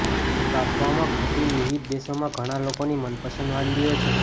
બાફવામાં કોબી વિવિધ દેશોમાં ઘણા લોકોની મનપસંદ વાનગીઓ છે